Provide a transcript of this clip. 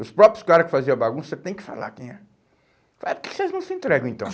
Os próprios caras que faziam a bagunça, você tem que falar quem é. Fala, por que que vocês não se entregam então?